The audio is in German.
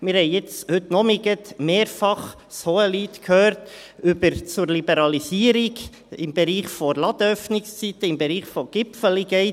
Wir haben gerade heute Nachmittag mehrfach das Hohelied zur Liberalisierung im Bereich der Ladenöffnungszeiten, des «Gipfeli Gates» gehört.